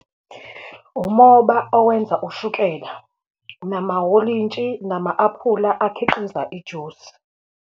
Umoba owenza ushukela, namawolintshi, nama-apula akhiqiza ijusi.